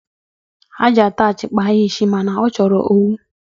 Ha ji ataach kpaa ya isi, ma na ọ chọrọ owu.